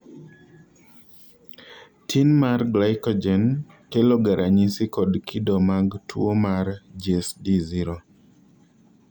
tin mar glycogen keloga ranyisi kod kido mag tuwo mar GSD 0.